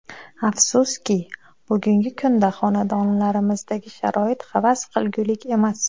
Afsuski, bugungi kunda xonadonlarimizdagi sharoit havas qilgulik emas.